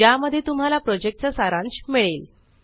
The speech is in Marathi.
ज्या मध्ये तुम्हाला प्रोजेक्टचा सारांश मिळेल